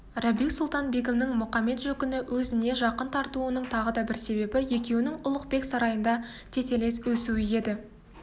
рабиу-сұлтан-бегімнің мұқамет-жөкіні өзіне жақын тартуының тағы да бір себебі екеуінің ұлықбек сарайында тетелес өсуі еді